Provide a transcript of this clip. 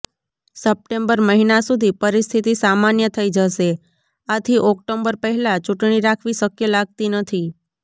September મહિના સુધી પરિસ્થિતિ સામાન્ય થઇ જશે આથી ઓક્ટોબર પહેલા ચૂંટણી રાખવી શક્ય લાગતી નથી